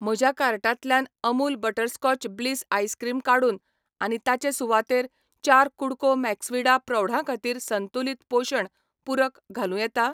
म्हज्या कार्टांतल्यान Amul butterscotch bliss ice cream काडून आनी ताचे सुवातेर चार कु़डको मैक्सविडा प्रौढां खातीर संतुलित पोशण पूरक घालूं येता?